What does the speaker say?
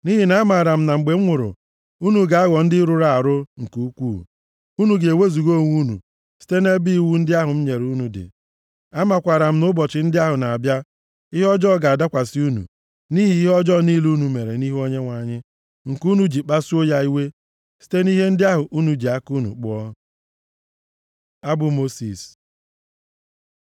Nʼihi na amaara m na mgbe m nwụrụ, unu ga-aghọ ndị rụrụ arụ nke ukwuu, unu ga-ewezuga onwe unu site nʼebe iwu ndị ahụ m nyere unu dị. Amakwaara m na nʼụbọchị ndị ahụ na-abịa, ihe ọjọọ ga-adakwasị unu, nʼihi ihe ọjọọ niile unu mere nʼihu Onyenwe anyị nke unu ji kpasuo ya iwe site nʼihe ndị ahụ unu ji aka unu kpụọ.” Abụ Mosis